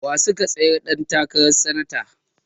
Wa suka tsayar ɗan takaran sanata?